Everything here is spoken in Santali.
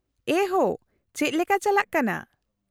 -ᱮᱭ ᱦᱳ , ᱪᱮᱫ ᱞᱮᱠᱟ ᱪᱟᱞᱟᱜ ᱠᱟᱱᱟ ?